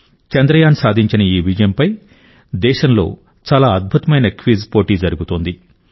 చంద్రయాన్ సాధించిన ఈ విజయంపై దేశంలో చాలా అద్భుతమైన క్విజ్ పోటీ జరుగుతోంది